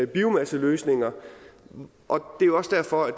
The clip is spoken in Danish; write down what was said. biomasseløsninger og det er også derfor at